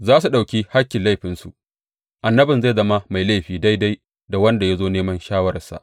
Za su ɗauki hakkin laifinsu annabin zai zama mai laifi daidai da wanda ya zo neman shawararsa.